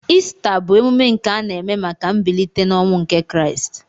Ista bu emume nke ana eme maka mbilite n'ọnwụ nke kraist.